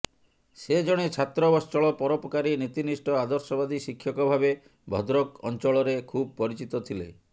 ସେ ଜଣେ ଛାତ୍ରବତ୍ସଳ ପରୋପକାରୀ ନୀତିନିଷ୍ଠ ଆଦର୍ଶବାଦୀ ଶିକ୍ଷକ ଭାବେ ଭଦ୍ରକ ଅଞ୍ଚରେ ଖୁବ୍ ପରିଚିତ ଥିଲେ